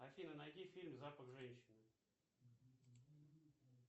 афина найди фильм запах женщины